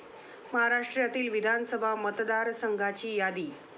महाराष्ट्रातील विधानसभा मतदारसंघाची यादी.